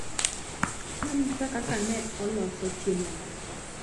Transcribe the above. Nonyisa kaka neoloso chiemogo.